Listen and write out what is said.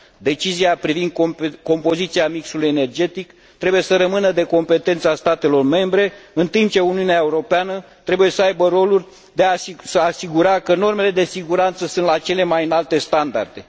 Decizia privind compoziția mixului energetic trebuie să rămână în competența statelor membre, în timp ce Uniunea Europeană trebuie să aibă rolul de a se asigura că normele de siguranță sunt la cele mai înalte standarde.